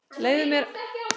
Leyfðu mér að lesa bréfið